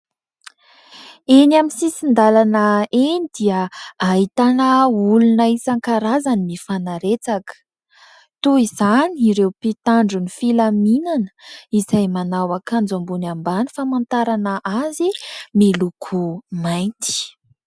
Eny amin'ny sisindalana eny dia ahitana olona isankarazany mifanaretsaka. Toy izany ireo mpitandro ny filaminana izay manao akanjo ambony ambany famantarana azy miloko mainty.